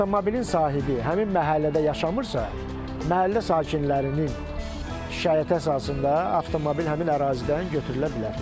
Avtomobilin sahibi həmin məhəllədə yaşamırsa, məhəllə sakinlərinin şikayəti əsasında avtomobil həmin ərazidən götürülə bilər.